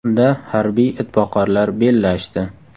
Unda harbiy itboqarlar bellashdi.